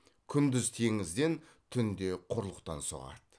күндіз теңізден түнде құрлықтан соғады